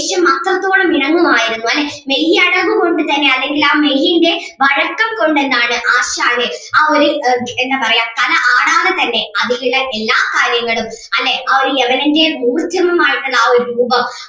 ദേഷ്യം അത്രത്തോളം ഇണങ്ങുമായിരുന്നു അല്ലേ മെയ്യഴക് കൊണ്ട് തന്നെ അല്ലെങ്കിൽ ആ മെയ്യിന്റെ വഴക്കം കൊണ്ട് എന്താണ് ആശാന് ആ ഒരു എന്താ പറയ്യാ കല ആടാതെ തന്നെ അതിലുള്ള എല്ലാ കാര്യങ്ങളും അല്ലെ ആ ഒരു യവനൻ്റെ ആയിട്ടുള്ള ആ ഒരു രൂപം